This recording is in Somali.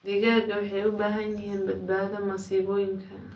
Digaagga waxay u baahan yihiin badbaado masiibooyinka.